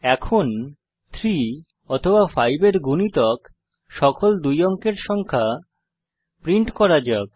এখন 3 অথবা 5 এর গুণিতক সকল দুই অঙ্কের সংখ্যা প্রিন্ট করা যাক